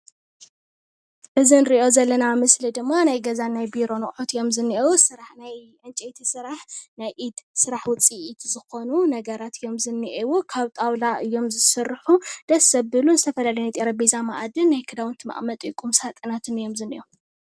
እዚ እንሪኦ ዘለና ምስሊ ድማ ናይ ገዛን ናይ ቢሮን ኣቅሑት እዮም ዝንሂዉ። ናይ ዕንጨቲ ስራሕ ናይ ኢድ ስራሕ ውፅኢት ዝኾኑ ነገራት እዮም ዝንሂዉ። ካብ ጣውላ እዮም ዝስርሑ። ደስ ዘብሉ ዝተፈላለዩ ናይ ጠረጴዛ መኣድን ናይ ክዳውንቲ መቀመጢ ቁም ሳጥናትን እዮ ዝንሂዉ።